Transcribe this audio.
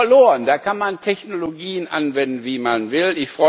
Die sind verloren, da kann man Technologien anwenden, wie man will.